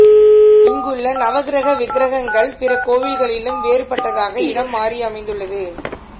இங்குள்ள நவக்கிரக விக்கிரகங்கள் பிற கோயிகளிலும் வேறுபட்டதாக இடம் மாறி அமைந்துள்ளது